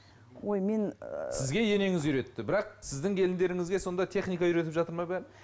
ой мен ыыы сізге енеңіз үйретті бірақ сіздің келіндеріңізге сонда техника үйретіп жатыр ма бәрін